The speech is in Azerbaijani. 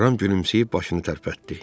Ram gülümsəyib başını tərpətdi.